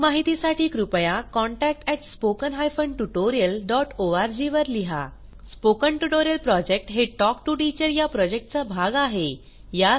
अधिक माहितीसाठी कृपया contact at spoken hyphen tutorial dot org वर लिहा स्पोकन ट्युटोरियल प्रॉजेक्ट हे टॉक टू टीचर या प्रॉजेक्टचा भाग आहे